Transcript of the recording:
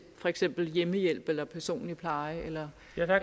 for eksempel hjemmehjælp eller personlig pleje eller